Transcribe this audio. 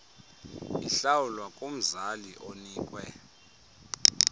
ihlawulwa kumzali onikwe